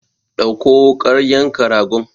Ɗauko wukar yanka ragon!